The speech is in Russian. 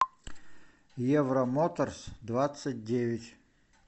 евромоторсдвадцатьдевять